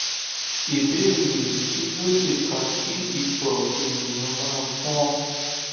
ìbéèrè kí ló lè fa ki ito eniyan ma pon